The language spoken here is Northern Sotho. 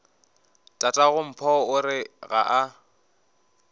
tatagompho o re ga a